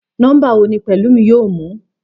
Nómbà wo ni Pèlúmi yóò mú?